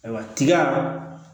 Ayiwa tiga